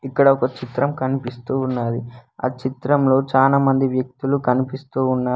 ఇక్కడ ఒక చిత్రం కనిపిస్తూ ఉన్నది ఆ చిత్రంలో చానా మంది వ్యక్తులు కనిపిస్తూ ఉన్నారు.